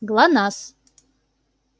гланаз